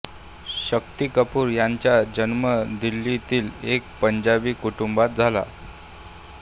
शक्ती कपूर यांचा जन्म दिल्लीतील एका पंजाबी कुटुंबात झाला